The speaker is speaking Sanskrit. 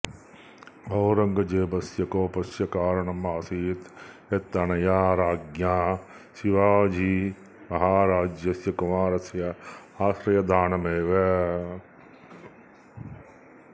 औरङ्गजेबस्य कोपस्य कारणम् आसीत् यत् अनया राज्ञ्या शिवाजीमहाराजस्य कुमाराय आश्रयदानमेव